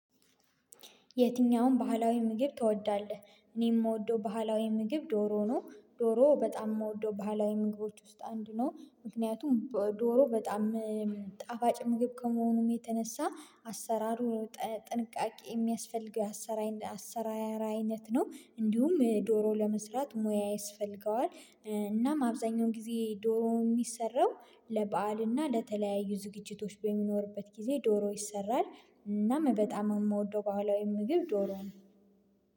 የትኛውን ባህላዊ ምግብ ትወዳለህ? እኔ የምወደው ባህላዊ ምግብ ዶሮ ነው። ዶሮ በጣም የምወደው ባህላዊ ምግቦች ውስጥ አንዱ ነው። ምክንያቱም ዶሮ በጣም ጣፋጭ ምግብ ከመሆኑም የተነሳ አሰራሩ ጥንቃቄ የሚያስፈልገው አሰራር አይነት ነው። እንዲሁም ዶሮ ለመስራት ሙያ ይስፈልገዋል። እናም አብዛኛው ጊዜ ዶሮ የሚሰራው ለበአልና ለተለያዩ ዝግጅቶች በሚኖርበት ጊዜ ዶሮ ይሰራል። እናም በጣም የምወደው በህላዊ የምግብ ዶሮ ነው